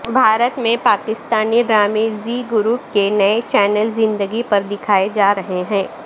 بھارت میں پاکستانی ڈرامے زی گروپ کے نئے چینل زندگی پر دکھائے جا رہے ہیں